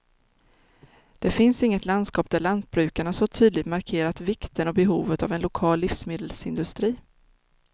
Det finns inget landskap där lantbrukarna så tydligt markerat vikten och behovet av en lokal livsmedelsindustri.